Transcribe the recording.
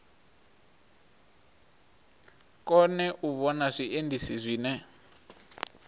kone u vhona zwiendisi zwine